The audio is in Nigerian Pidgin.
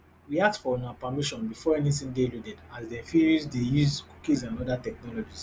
we ask for una permission before anytin dey loaded as dem fit dey use cookies and oda technologies